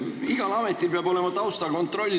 Igal ametil peab olema taustakontroll.